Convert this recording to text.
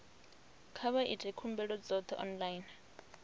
kha vha ite khumbelo dzoṱhe online